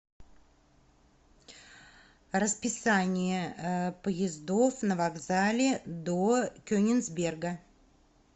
расписание поездов на вокзале до кенигсберга